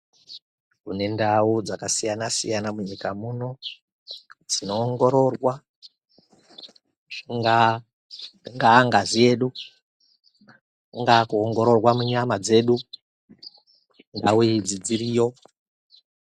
Kune ndau dzakasiyana siyana munyika muno dzinoongororwa chingaa ingaa ngazi yedu, kungaa kuongororwa munyama dzedu, ndau idzi dziriyo